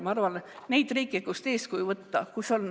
Ma arvan, et on neid riike, kust eeskuju võtta.